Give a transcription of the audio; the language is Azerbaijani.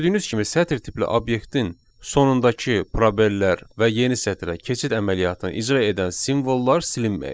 Gördüyünüz kimi sətir tipli obyektin sonundakı probellər və yeni sətrə keçid əməliyyatını icra edən simvollar silinməyib.